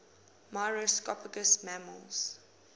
myrmecophagous mammals